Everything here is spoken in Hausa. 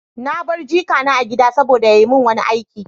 Na bar jikina a gida saboda ya yi min wani aiki.